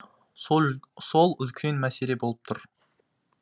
сол үлкен мәселе болып тұр